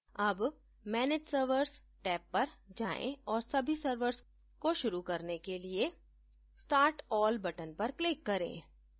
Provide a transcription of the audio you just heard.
tab manage servers tab पर जाएँ और सभी servers को शुरू करने के लिए start all button पर क्लिक करें